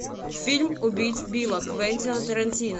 фильм убить билла квентина тарантино